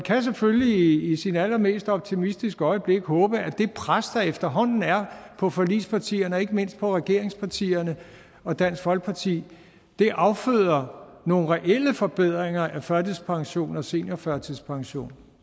selvfølgelig i sit allermest optimistiske øjeblik håbe at det pres der efterhånden er på forligspartierne og ikke mindst på regeringspartierne og dansk folkeparti afføder nogle reelle forbedringer af førtidspension og seniorførtidspension